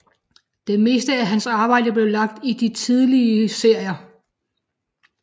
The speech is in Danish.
Det meste af hans arbejde blev lavet i de tidlige serier